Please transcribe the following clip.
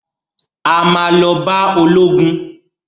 A ma lọ bá ológun